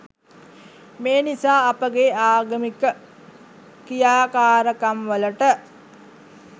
මේ නිසා අපගේ ආගමික ක්‍රියාකාරකම්වලට